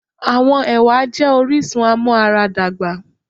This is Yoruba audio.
Àwọn ẹwà jé orísun amuaradagba